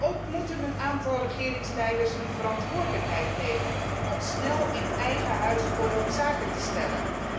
Ook moeten een aantal regeringsleiders hun verantwoordelijkheid nemen om snel in eigen huis orde op zaken te stellen.